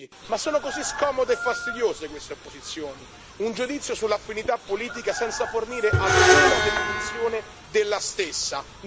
Un giudizio sull'affinità politica senza fornire alcuna definizione della stessa, né alcun parametro né criterio oggettivo di misurazione.